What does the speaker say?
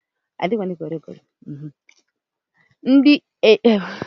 Ndị egwu ekpili Naijiria ji eme ọnụ bụ osadebe, Oliver, chimezie